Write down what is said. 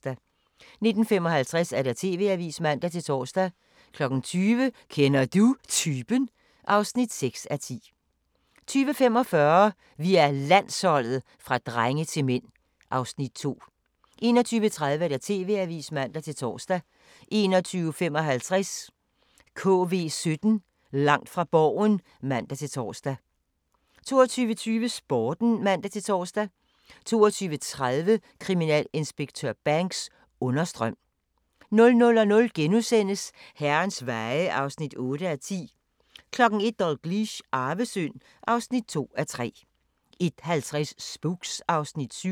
19:55: TV-avisen (man-tor) 20:00: Kender Du Typen? (6:10) 20:45: Vi er Landsholdet – fra drenge til mænd (Afs. 2) 21:30: TV-avisen (man-tor) 21:55: KV17 Langt fra Borgen (man-tor) 22:20: Sporten (man-tor) 22:30: Kriminalinspektør Banks: Understrøm 00:00: Herrens Veje (8:10)* 01:00: Dalgliesh: Arvesynd (2:3) 01:50: Spooks (Afs. 7)